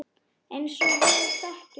Eins og við þekkjum sjálf.